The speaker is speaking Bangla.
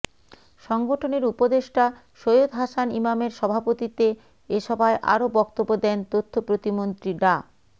সংগঠনের উপদেষ্টা সৈয়দ হাসান ইমামের সভাপতিত্বে এ সভায় আরও বক্তব্য দেন তথ্য প্রতিমন্ত্রী ডা